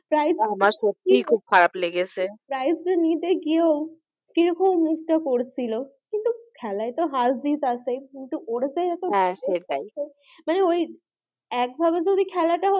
আমার সত্যিই খুব খারাপ লেগেছে prize টা নিতে গিয়েও কি রকম মুখটা করছিল কিন্তু খেলাই তো হার জিত আছেই কিন্তু ওর যে এতো সেটাই মানে ওই একভাবে যদি খেলাটা হতো,